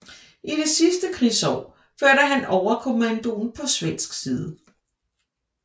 I det sidste krigsår førte han overkommandoen på svensk side